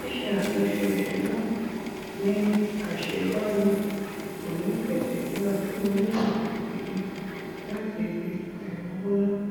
àwọn olówó kì í fi béè ronú nípa àwọn nǹkan mìíràn tó lè mú kí wón ṣe irú ìnáwó béè